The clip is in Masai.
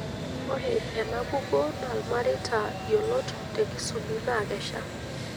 Ore ena kukuo naa ilmareita yiolot te Kisubi naakesha.